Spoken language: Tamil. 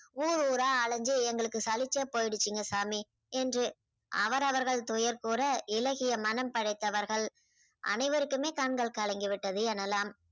ஊர் ஊரா அலஞ்சு எங்களுக்கு சலிச்சே போய்டுச்சுங்க சாமி என்று அவரவர்கள்கள் துயர் கூற இளகிய மனம் படைத்தவர்கள் அனைவருக்குமே கண்கள் கலங்கி விட்டது எனலாம்.